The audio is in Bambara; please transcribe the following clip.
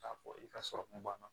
K'a fɔ i ka sɔrɔkun banna